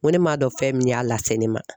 N ko ne m'a dɔn fɛn min y'a lase ne ma